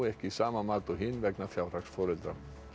sama mat og hin vegna fjárhags foreldra